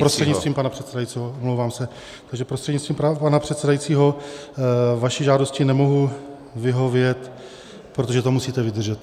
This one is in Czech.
Prostřednictvím pana předsedajícího, omlouvám se, takže prostřednictvím pana předsedajícího vaší žádosti nemohu vyhovět, protože to musíte vydržet.